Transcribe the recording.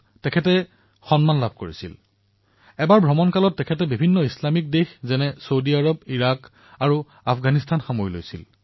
তেওঁৰ এক উদাসীত বহুকেইখন ইছলাম দেশো ভ্ৰমণ কৰা হৈছিল যত ছৌদি আৰৱ ইৰাক আৰু আফগানিস্তানো অন্তৰ্ভুক্ত হৈছে